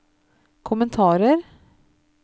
kommentarer